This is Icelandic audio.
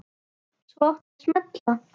Svo átti að smella.